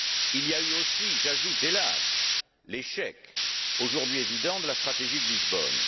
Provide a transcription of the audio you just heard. Il y a eu aussi j'ajoute, hélas l'échec, aujourd'hui évident, de la stratégie de Lisbonne.